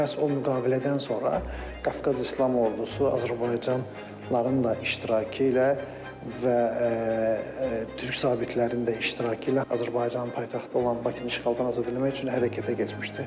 Məhz o müqavilədən sonra Qafqaz İslam Ordusu Azərbaycanlıların da iştirakı ilə və Türk zabitlərinin də iştirakı ilə Azərbaycanın paytaxtı olan Bakını işğaldan azad eləmək üçün hərəkətə keçmişdir.